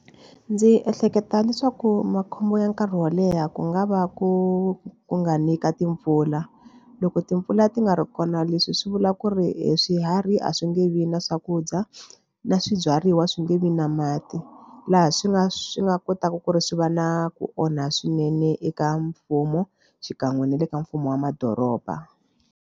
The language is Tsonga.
Ndzi ehleketa leswaku makhombo ya nkarhi wo leha ku nga va ku ku nga ni ka timpfula. Loko timpfula ti nga ri kona leswi swi vula ku ri hi swiharhi a swi nge vi na swakudya na swibyariwa swi nge vi na mati laha swi nga swi nga kotaka ku ri swi va na ku onha swinene eka mfumo xikan'we na le ka mfumo wa madoroba.